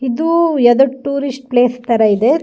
ಇದೂ ಯಾವ್ದೋ tourist place ತರ ಇದೆ --